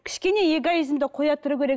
кішкене эгоизмді қоя тұру керек